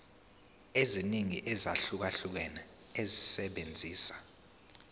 eziningi ezahlukahlukene esebenzisa